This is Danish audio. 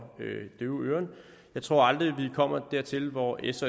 døve øren jeg tror aldrig vi kommer dertil hvor s